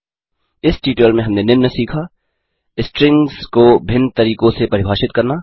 इस ट्यूटोरियल में हमने निम्न सीखा 1स्ट्रिंग्स को भिन्न तरीकों से परिभाषित करना